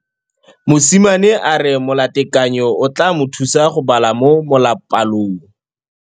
Mosimane a re molatekanyô o tla mo thusa go bala mo molapalong.